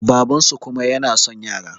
babansu kuma yana son yara